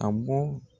A bɔ